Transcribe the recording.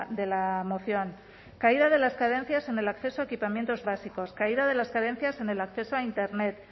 de la moción caída de las carencias en el acceso a equipamientos básicos caída de las carencias en el acceso a internet